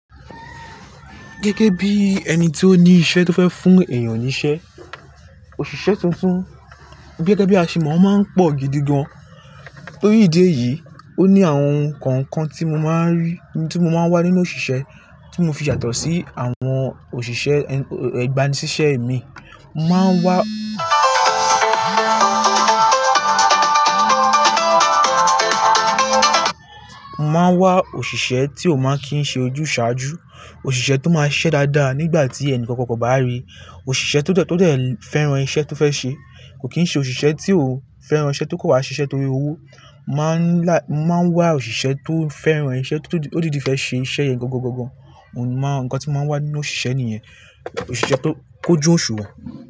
Gẹ́gẹ́ bí ẹni tí ó ní iṣẹ́ tó fẹ́ fún èèyàn níṣẹ́, òṣìṣẹ́ tuntun gẹ́gẹ́ bí aṣemò máa ń pọ̀ gidi gan. Lórí ìdí èyí, ó ní àwọn ohun kan kan tí mo máa ń rí, tí mo máa ń wá nínú òṣìṣẹ́ tí mo fi ṣàtọ̀ sí àwọn òṣìṣẹ́ ẹgbani sìṣẹ́ mi. Mo máa ń wá òṣìṣẹ́ tí ó máa kín ṣe ojúsàájú, òṣìṣẹ́ tó máa ṣiṣẹ́ dáadáa nígbà tí ẹnìkankan kò bá ríi, òṣìṣẹ́ tó dẹ́, tó dẹ́ fẹ́ran iṣẹ́ tó fẹ́ ṣe, kò kín ṣe òṣìṣẹ́ tí ó fẹ́ran iṣẹ́ tó kò wa ṣiṣẹ́ torí owó. Máa ń wá òṣìṣẹ́ tó fẹ́ran iṣẹ́, tó dídì fẹ́ ṣe iṣẹ́ yẹn gàngàngàngàn. N kan tí mó máa ń wá nínú òṣìṣẹ́ nìyẹn, òṣìṣẹ́ tó kójú òṣùwọ̀n.